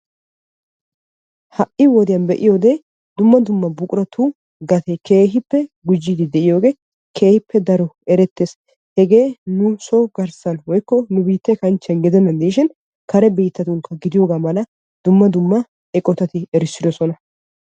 Ha'i wodiyaan be'iyoode dumma dumma buquratu gatee keehippe gujjiidi de'iyooge keehippe erettees. Hegee so nu garssan woykko nu biitte kanchchiyaan gudenan diishin kare biittatunkka gidiyooga dumma dumma eqotatti erissidoosona.